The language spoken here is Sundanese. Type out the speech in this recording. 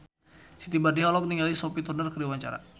Siti Badriah olohok ningali Sophie Turner keur diwawancara